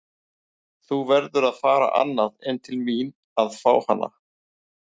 Þú verður að fara annað en til mín að fá hana.